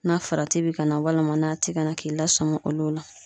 Na farati bi ka na walima n'a ti ka na k'i lasɔmi olu la